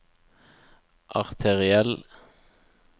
arteriell